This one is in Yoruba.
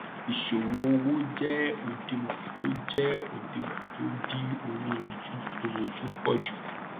ìṣòwò owó jẹ òdiwòn tó jẹ òdiwòn tó dí owó ojúkoròjú pọ jù